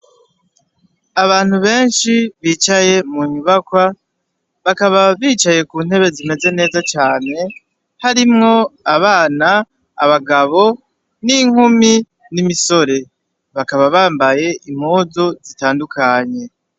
Abantu benshi bicaye mu nyubakwa bakaba bicaye kuntebe zimeze neza cane harimwo abana, Abagabo, n'inkumi n'imisore bakaba bambaye impuzu zitandukanye.